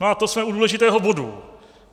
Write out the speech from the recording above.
No a to jsme u důležitého bodu.